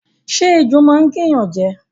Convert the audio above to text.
Ṣé ejò máa n gé ẹ̀yán jẹ